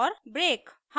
और break